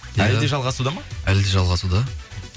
әлі де жалғасуда ма әлі де жалғасуда